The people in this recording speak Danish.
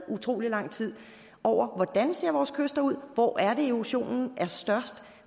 utrolig lang tid over hvordan ser vores kyster ud hvor er det erosionen er størst